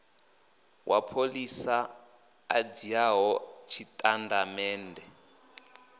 wa pholisa a dzhiaho tshitatamennde